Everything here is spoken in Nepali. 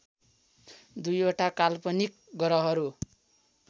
दुईवटा काल्पनिक ग्रहहरू